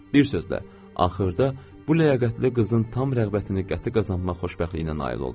Bir sözlə, axırda bu ləyaqətli qızın tam rəğbətini qəti qazanmaq xoşbəxtliyinə nail oldum.